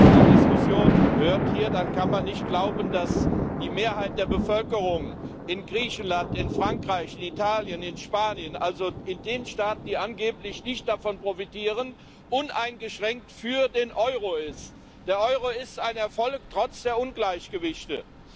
Wenn man die Diskussionen hier hört, dann kann man nicht glauben, dass die Mehrheit der Bevölkerung in Griechenland, in Frankreich, in Italien, in Spanien also in den Staaten, die angeblich nicht davon profitieren uneingeschränkt für den Euro ist. Der Euro ist ein Erfolg, trotz der Ungleichgewichte.